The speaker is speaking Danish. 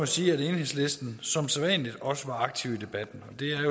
sige at enhedslisten som sædvanlig også var aktiv i debatten